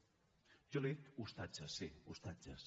jo li he dit ostatges sí ostatges